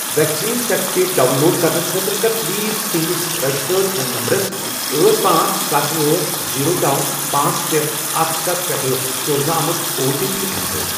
Vaccine certificate download کرنہٕ خٲطرٕ کَر پلیز تُہنٛدِس رجسٹرٲڑ فون نمبرَس أٹھ، پانژھ، ستھَ، أٹھ، زیٖرو، نوَ، پانژھ، شے، اکھ، ستھَ، پٮ۪ٹھ سوزنہٕ آمُت او ٹی پی ایٚنٹر۔